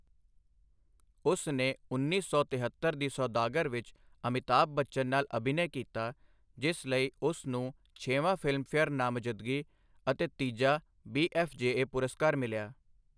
ਉਸ ਨੇ ਉੱਨੀ ਸੌ ਤਿਹੱਤਰ ਦੀ ਸੌਦਾਗਰ ਵਿੱਚ ਅਮਿਤਾਭ ਬੱਚਨ ਨਾਲ ਅਭਿਨੈ ਕੀਤਾ, ਜਿਸ ਲਈ ਉਸ ਨੂੰ ਛੇਵਾਂ ਫਿਲਮਫੇਅਰ ਨਾਮਜ਼ਦਗੀ ਅਤੇ ਤੀਜਾ ਬੀ.ਐਫ.ਜੇ.ਏ. ਪੁਰਸਕਾਰ ਮਿਲਿਆ।